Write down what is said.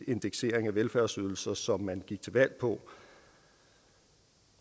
indeksering af velfærdsydelser som man gik til valg på